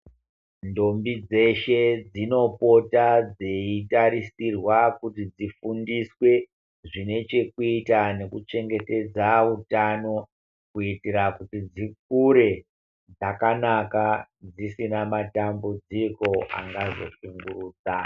Ndombi dzeshe dzinopota dzeitarisirwa kuti dzifundiswe zvinechekuita nekuchengetedza utano. Kuitira kuti dzikure dzakanaka dzisina matambidziko angazoshungurudza.